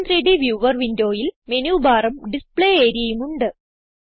gchem3ഡ് വ്യൂവർ വിൻഡോയിൽ Menubarഉം ഡിസ്പ്ലേ areaഉം ഉണ്ട്